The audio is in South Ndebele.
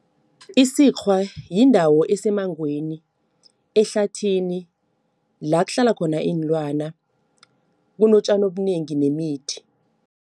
Isikghwa yindawo esemangweni, ehlathini. La kuhlala khona iinlwana, kunotjani obunengi nemithi.